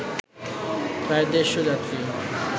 প্রায় দেড়’শ যাত্রী